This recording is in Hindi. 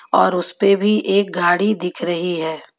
और उस पे भी एक गाड़ी दिख रही है.